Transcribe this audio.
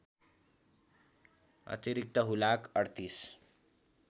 अतिरिक्त हुलाक ३८